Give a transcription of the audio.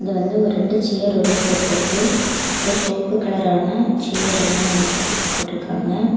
இது வந்து ஒரு ரெண்டு ஷேர் ஒன்னு போட்ருக்கு அது சுவப்பு கலரான ஷேர் ரெண்டேன்னு வெச்சிருக்க போட்டீர்கா ங்க.